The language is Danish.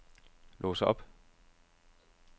lås op